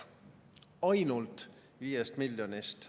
Ainult viiest miljonist.